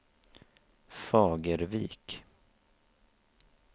Fagervik